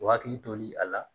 O hakili toli a la